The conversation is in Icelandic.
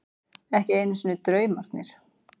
Ekki einu sinni draumarnir.